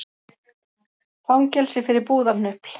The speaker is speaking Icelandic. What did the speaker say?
Fangelsi fyrir búðarhnupl